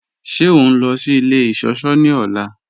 Ṣẹ o nlọ sí ilẹ̀ iṣọ̀ṣọ̀ ni ọla?